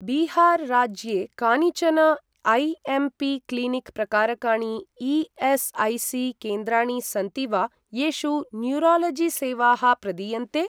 बिहार राज्ये कानिचन AMP. Clinic प्रकारकाणि ई.एस्.ऐ.सी.केन्द्राणि सन्ति वा, येषु न्यूरालजिसेवाः प्रदीयन्ते?